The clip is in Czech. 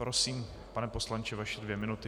Prosím, pane poslanče, vaše dvě minuty.